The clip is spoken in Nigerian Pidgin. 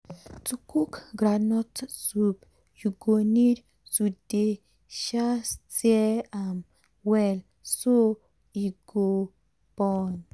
to cook groundnut soup u go need to dey um stir am well so e go burn.